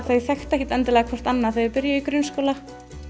þau þekktu ekkert endilega hvert annað þegar þau byrjuðu í grunnskóla